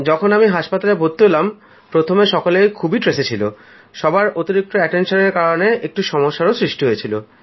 যখন আমি হাসপাতালে ভর্তি হলাম প্রথমে তো সকলে খুব চাপের মধ্যে ছিল সবার অতিরিক্ত খেয়াল দেবার কারণে একটু সমস্যার সৃষ্টি হয়েছিল